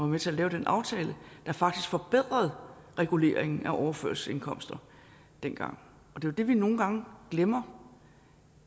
med til at lave den aftale der faktisk forbedrede reguleringen af overførselsindkomster dengang det er det vi nogle gange glemmer